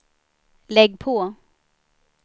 lägg på